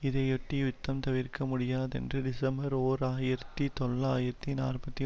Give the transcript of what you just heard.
இதையொட்டி யுத்தம் தவிர்க்க முடியாதென்று டிசம்பர் ஓர் ஆயிரத்தி தொள்ளாயிரத்தி நாற்பத்தி